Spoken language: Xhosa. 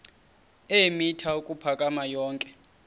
eemitha ukuphakama yonke